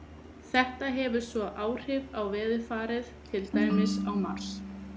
Þetta hefur svo áhrif á veðurfarið, til dæmis á Mars.